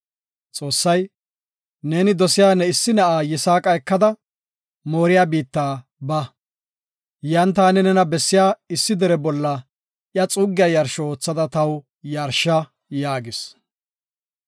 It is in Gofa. Xoossay, “Neeni dosiya ne issi na7a Yisaaqa ekada, Mooriya biitta ba. Yan taani nena bessiya issi dere bolla iya xuussa yarsho oothada taw yarsha” yaagis.